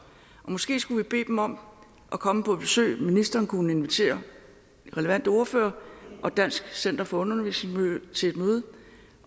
måske skulle vi bede dem om at komme på besøg ministeren kunne invitere de relevante ordførere og dansk center for undervisningsmiljø til et møde